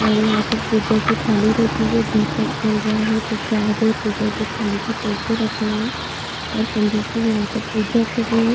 और यहाँ पर पूजा की थाली रखी है दीपक जल रहा है प्रसाद है पूजा की थाली में पैसे रखे हैं और पंडित जी यहाँ पर पूजा कर रहें हैं।